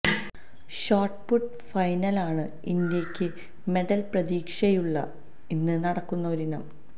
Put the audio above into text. shot put ഫൈനലാണ് ഇന്ത്യക്ക് medal പ്രതീക്ഷയുള്ള ഇന്ന് നടക്കുന്ന ഒരിനം